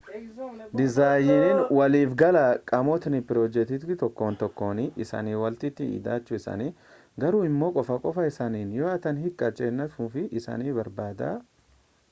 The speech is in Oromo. dizaayiniin waliifgalaa qaamotni pirojektii tokkon tokkoon isanii walitti hidhachuu isaanii garuu immoo qofa qofaa isaaniis yoo ta'an hiikaa kennuu isaanii barbaada